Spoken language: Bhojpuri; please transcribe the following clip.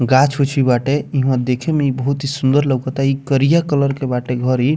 गाछ उछ भी बाटे ईहवाँ देखे में बहुत सुंदर लउकता इ करिया कलर के बाटे घर इ।